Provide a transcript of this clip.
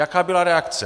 Jaká byla reakce?